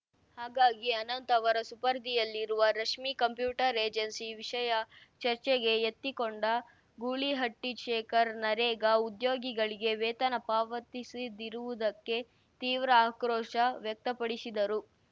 ಹಾಗಾಗಿ ಅನಂತ್‌ ಅವರ ಸುಪರ್ಧಿಯಲ್ಲಿರುವ ರಶ್ಮಿ ಕಂಪ್ಯೂಟರ್‌ ಏಜೆನ್ಸಿ ವಿಷಯ ಚರ್ಚೆಗೆ ಎತ್ತಿಕೊಂಡ ಗೂಳಿಹಟ್ಟಿಶೇಖರ್‌ ನರೇಗಾ ಉದ್ಯೋಗಿಗಳಿಗೆ ವೇತನ ಪಾವತಿಸದಿರುವುದಕ್ಕೆ ತೀವ್ರ ಆಕ್ರೋಶ ವ್ಯಕ್ತಪಡಿಸಿದರು